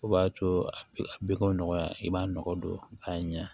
O b'a to a bɛ ko nɔgɔya i b'a nɔgɔ don a ɲɛ